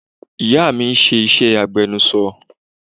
Ìyá mi ń ṣe iṣẹ́ agbẹnuṣọ